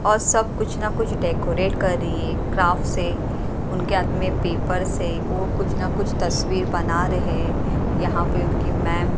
और सब कुछ ना कुछ डेकोरेट कर रही है क्राफ्ट से उनके हाथ में पेपर्स है वो कुछ ना कुछ तस्वीर बना रहे यहां पे उनकी मैम --